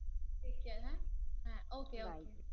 Take care হা হ্যা Okay okay